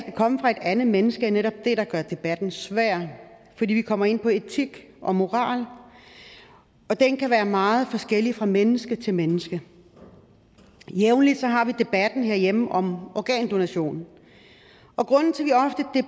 komme fra et andet menneske er netop det der gør debatten svær fordi vi kommer ind på etik og moral og den kan være meget forskellig fra menneske til menneske jævnligt har vi debatten herhjemme om organdonation og grunden til